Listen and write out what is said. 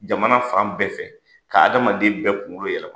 Jamana fan bɛɛ fɛ, ka adamaden bɛɛ kunkolo yɛlɛma.